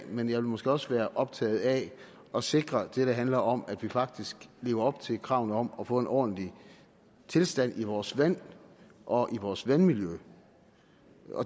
men jeg vil måske også være optaget af at sikre det der handler om at vi faktisk lever op til kravene om at få en ordentlig tilstand i vores vand og i vores vandmiljø